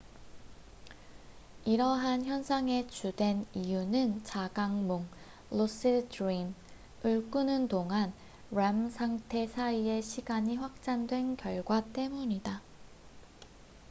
이러한 현상의 주된 이유는 자각몽lucid dream을 꾸는 동안 rem 상태 사이의 시간이 확장된 결과 때문이다